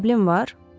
Problem var?